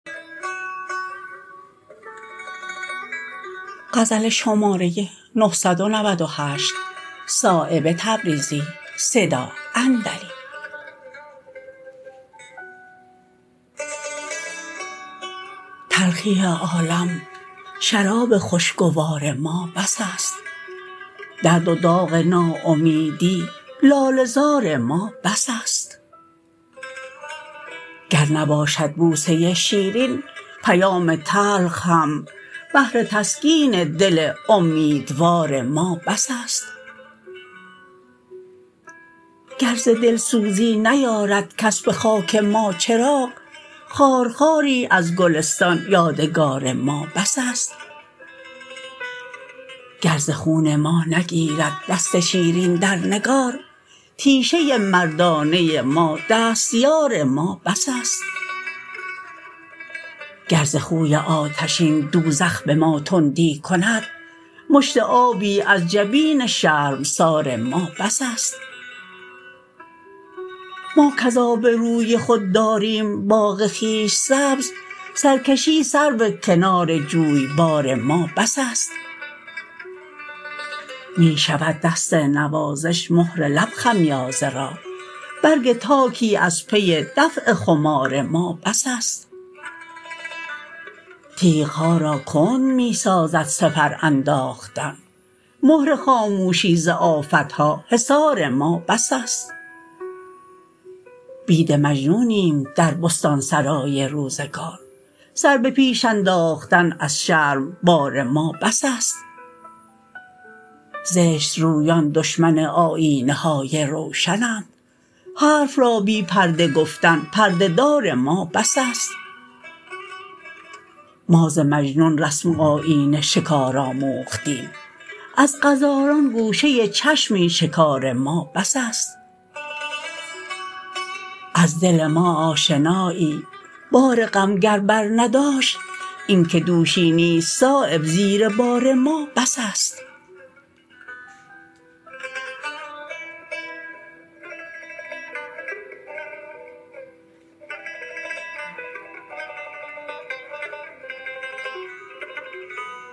تلخی عالم شراب خوشگوار ما بس است درد و داغ ناامیدی لاله زار ما بس است گر نباشد بوسه شیرین پیام تلخ هم بهر تسکین دل امیدوار ما بس است گر ز دلسوزی نیارد کس به خاک ما چراغ خارخاری از گلستان یادگار ما بس است گر ز خون ما نگیرد دست شیرین در نگار تیشه مردانه ما دستیار ما بس است گر ز خوی آتشین دوزخ به ما تندی کند مشت آبی از جبین شرمسار ما بس است ما کز آب روی خود داریم باغ خویش سبز سرکشی سرو کنار جویبار ما بس است می شود دست نوازش مهر لب خمیازه را برگ تاکی از پی دفع خمار ما بس است تیغ ها را کند می سازد سپر انداختن مهر خاموشی ز آفتها حصار ما بس است بید مجنونیم در بستانسرای روزگار سر به پیش انداختن از شرم بار ما بس است زشت رویان دشمن آیینه های روشنند حرف را بی پرده گفتن پرده دار ما بس است ما ز مجنون رسم و آیین شکار آموختیم از غزالان گوشه چشمی شکار ما بس است از دل ما آشنایی بار غم گر بر نداشت این که دوشی نیست صایب زیر بار ما بس است